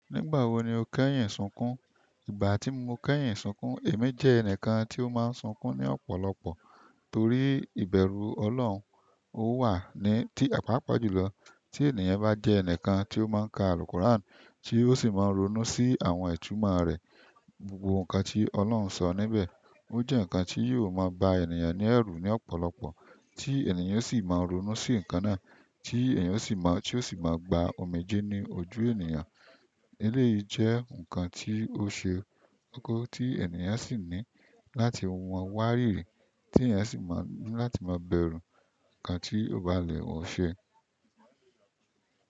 Nígbà wo ni o kẹ́yìn sùnkùn? Ìgbà tí mo kẹ́yin sunkún, èmi jẹ́ ẹnìkan tí ó máa ń sunkún ní ọ̀pọ̀lọpọ̀ torí ìbẹ̀rù Ọlọ́run, ó wà ní ti àpáàpá jùlọ. Tí ènìyàn bá jẹ́ ẹnìkan tí ó má ń ka àlùkùrán tí ó sì máa ń ronú sí àwọn ìtúmọ̀ rẹ̀, gbogbo nǹkan tí Ọlọ́run sọ níbẹ̀. Ó jẹ́ nǹkan tí yóò máa ba ènìyàn ní ẹ̀rù ní ọ̀pọ̀lọpọ̀ tí ènìyàn sì máa ń ronú sí nǹkan náà tí ènìyàn sì má tí ó sì máa gba omijé ní ojú ènìyàn. Eléyìí jẹ́ nǹkan tí ó ṣe kókó tí ènìyàn sì ní láti wọ́n wá rírí, tí ènìyàn sì máa ń láti má bẹ̀rù nǹkan tí ó bá le wọ́n ṣe.